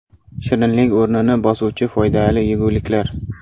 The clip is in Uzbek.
Shirinlik o‘rnini bosuvchi foydali yeguliklar.